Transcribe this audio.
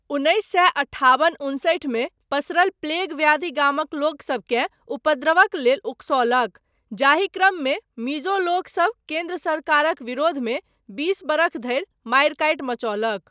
उन्नैस सए अठाबन उनसठि मे पसरल प्लेग व्याधि गामक लोकसबकेँ उपद्रवक लेल ओकसौलक, जाहि क्रममे मिजो लोकसभ केन्द्र सरकारक विरोधमे बीस बरख धरि मारिकाटि मचौलक।